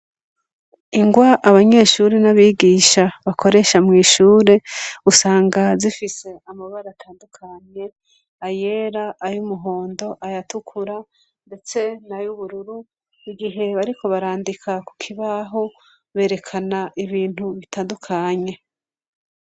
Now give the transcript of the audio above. Ingwa abanyeshure n'abigisha bakoresha mw'ishure usanga zifise amabara atandukanye: ayera, ay'umuhondo, ayatukura ndetse n'ay'ubururu igihe bariko barandika ku kibaho berekana ibintu bitandukanye.